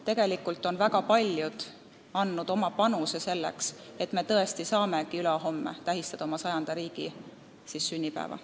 Tegelikult on väga paljud andnud oma panuse selleks, et me tõesti saamegi tähistada ülehomme oma riigi 100. sünnipäeva.